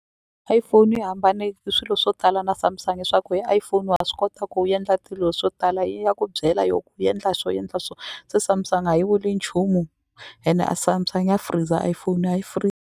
iPhone yi hambane swilo swo tala na Samsung hi swa ku hi iPhone wa swi kota ku endla tilo swo tala yi ya ku byela yo endla so endla so se Samsung a yi vuli nchumu ene a Samsung ya freezer iPhone a yi .